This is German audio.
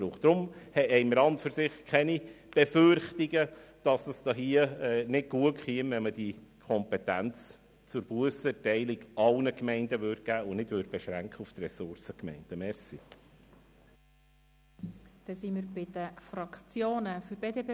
Deshalb haben wir an und für sich keine Befürchtungen, dass es nicht gut kommt, wenn man die Kompetenz zur Bussenerteilung allen Gemeinden geben und sie nicht auf die Ressourcengemeinden beschränken würde.